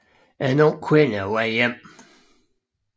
En ung kvinde på vej hjem